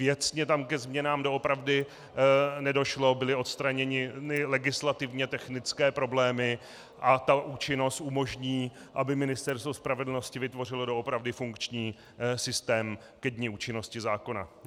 Věcně tam ke změnám doopravdy nedošlo, byly odstraněny legislativně technické problémy a ta účinnost umožní, aby Ministerstvo spravedlnosti vytvořilo doopravdy funkční systém ke dni účinnosti zákona.